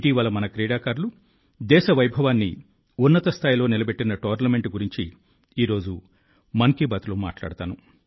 ఇటీవల మన క్రీడాకారులు దేశ వైభవాన్ని ఉన్నతస్థాయిలో నిలబెట్టిన టోర్నమెంట్ల గురించి ఈ రోజు మన్ కీ బాత్లో మాట్లాడుతాను